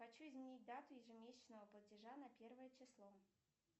хочу изменить дату ежемесячного платежа на первое число